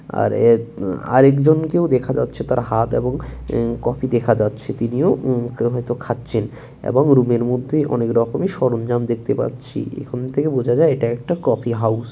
আর এক আ আরেকজনকেও দেখা যাচ্ছে তার হাত এবং কফি দেখা যাচ্ছে তিনিও উম হয়তো খাচ্ছেন এবং রুমের মধ্যেই অনেক রকমের সরঞ্জাম দেখতে পাচ্ছি এখান থেকে বোঝা যায় এটা একটা কফি হাউস ।